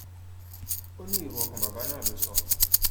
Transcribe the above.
ó ní èrò ọkàn bàbá náà ló sọ